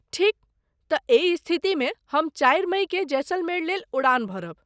ठीक, तँ एहि स्थितिमे हम चारि मइकेँ जैसलमेर लेल उड़ान भरब।